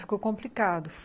Ficou complicado.